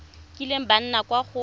kileng ba nna kwa go